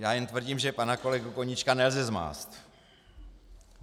Já jen tvrdím, že pana kolegu Koníčka nelze zmást.